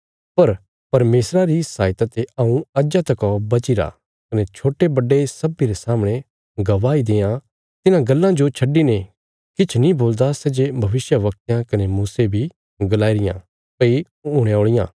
पर परमेशरा री सहायता ते हऊँ अज्जा तका बचीरा कने छोट्टे बड्डे सब्बीं रे सामणे गवाही देआं तिन्हां गल्लां जो छड्डिने किछ नीं बोलदा सै जे भविष्यवक्तयां कने मूसे बी गलाईयां भई हुणे औल़ियां इ